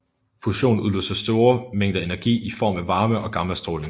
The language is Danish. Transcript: Fusion udløser store mængder energi i form af varme og gammastråling